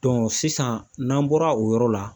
sisan n'an bɔra o yɔrɔ la